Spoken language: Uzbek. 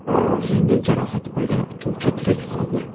Yengil jarohat olgan uchuvchi tirik qoldi.